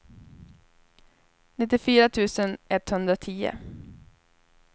nittiofyra tusen etthundratio